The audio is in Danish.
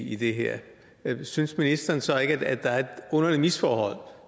i det her synes ministeren så ikke at der er et underligt misforhold